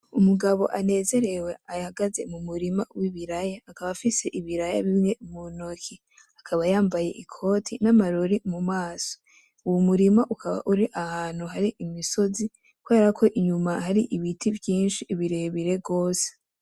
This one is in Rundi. Umugabo anezerewe ahagaze mumurima wibiraya, akaba afise ibiraya bimwe muntoke akaba yambaye ikote namarori mumaso , uwo murima ukaba uri ahantu hari imisozi kuberako inyuma hari ibiti vyinshi birebire gose .